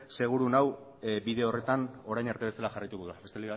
seguru nago bide horretan orain arte bezala jarraituko duela besterik